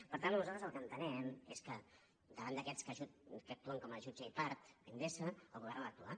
per tant nosaltres el que entenem és que davant d’aquests que actuen com a jutge i part endesa el govern ha d’actuar